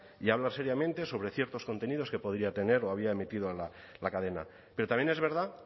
y hablar seriamente sobre ciertos contenidos que podría tener o había emitido la cadena pero también es verdad